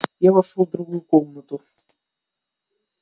я вошёл в другую комнату